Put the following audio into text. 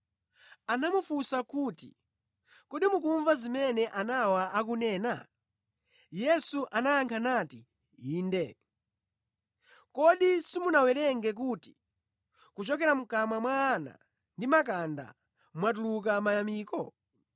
Anamufunsa kuti, “Kodi mukumva zimene anawa akunena?” Yesu anayankha nati, “Inde. Kodi simunawerenge kuti, “Kuchokera mʼkamwa mwa ana ndi makanda mwatuluka mayamiko?”